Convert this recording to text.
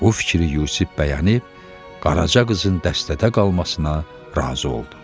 O fikri Yusif bəyənib Qaraca qızın dəstədə qalmasına razı oldu.